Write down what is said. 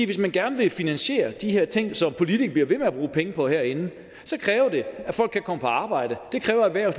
hvis man gerne vil finansiere de her ting som politikerne bliver ved med at bruge penge på herinde kræver det at folk kan komme på arbejde det kræver at